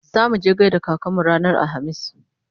zamuje mu gaida kakanmu ranar alhamis